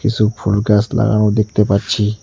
কিসু ফুল গাছ লাগানো দেখতে পাচ্ছি।